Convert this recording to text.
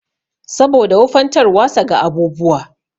Saboda wufantarwasa ga abubuwa.